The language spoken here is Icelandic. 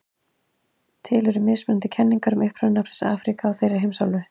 Til eru mismunandi kenningar um uppruna nafnsins Afríka á þeirri heimsálfu.